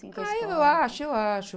Ah, eu acho, eu acho.